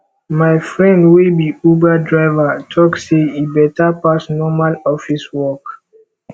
my friend wey be uber driver tok sey e beta pass normal office work